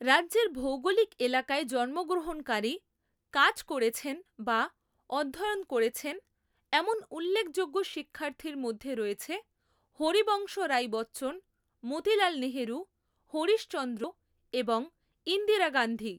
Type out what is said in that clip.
রাজ্যের ভৌগলিক এলাকায় জন্মগ্রহণকারী, কাজ করেছেন বা অধ্যয়ন করেছেন এমন উল্লেখযোগ্য শিক্ষার্থীর মধ্যে রয়েছে হরিবংশ রাই বচ্চন, মতিলাল নেহেরু, হরিশ চন্দ্র এবং ইন্দিরা গান্ধী।